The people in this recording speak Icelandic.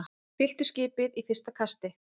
Fylltu skipið í fyrsta kasti